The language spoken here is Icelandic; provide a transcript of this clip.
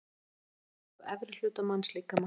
Röntgenmynd af efri hluta mannslíkama.